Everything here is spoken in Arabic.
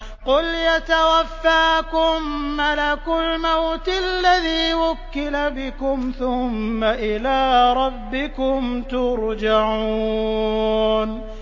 ۞ قُلْ يَتَوَفَّاكُم مَّلَكُ الْمَوْتِ الَّذِي وُكِّلَ بِكُمْ ثُمَّ إِلَىٰ رَبِّكُمْ تُرْجَعُونَ